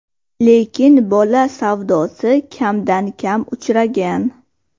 Lekin bola savdosi kamdan-kam uchragan.